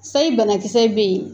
Sayi banakisɛ bɛ yen